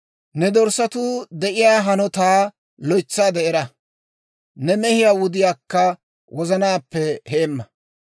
Ne dorssatuu de'iyaa hanotaa loytsaade era; ne mehiyaa wudiyaakka wozanaappe heemma.